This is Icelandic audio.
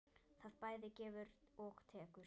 Það bæði gefur og tekur.